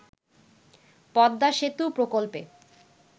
পদ্মা সেতু প্রকল্পে